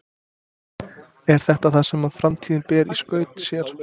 Er þetta það sem framtíðin ber í skauti sér?